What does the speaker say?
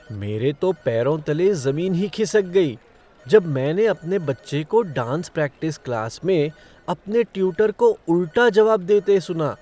मेरे तो पैरों तले ज़मीन ही खिसक गई जब मैंने अपने बच्चे को डांस प्रैक्टिस क्लास में अपने ट्यूटर को उल्टा जवाब देते सुना।